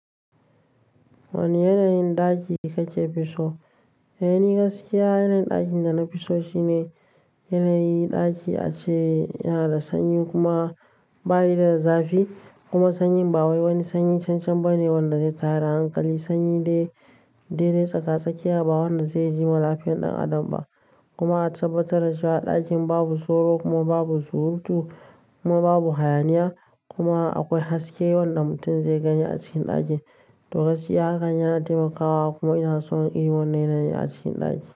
Wane yanayin ɗaki kake fi so? Da yanina gaskiya yanayin ɗakin da na fi so shine yanayi ɗaki a ce yana da sanyi kuma bayi da zafi kuma sanyin ba wani sanyi shan shan ba ne wanda zai tara hankali. Sanyi dai- dai dadi tsaka tsakiya ba wanda zai jiwa lafiyan ɗan adam ba. Kuma a tabbatar da cewa a ɗakin babu soro kuma babu surutu kuma babu hayaniya kuma akwai haske wanda mutum zai gani a cikin ɗakin. To gaskiya hakan yana taimakawa kuma ina son irin wannan yanayin a cikin ɗaki.